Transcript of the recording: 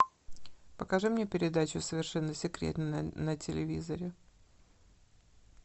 покажи мне передачу совершенно секретно на телевизоре